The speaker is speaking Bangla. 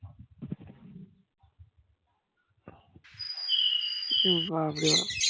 বাপরে বাপ